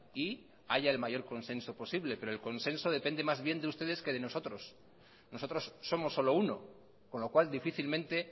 y haya el mayor consenso posible pero el consenso depende más bien de ustedes que de nosotros nosotros somos solo uno con lo cual difícilmente